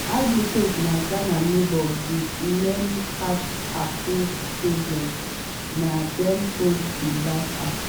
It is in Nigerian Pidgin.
ivory coast na ghana neighbour wit many caf-approved stadiums - na dem host di last afcon.